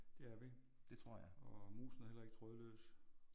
Det er vi. Og musen er heller ikke trådløs